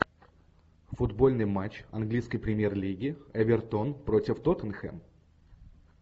футбольный матч английской премьер лиги эвертон против тоттенхэм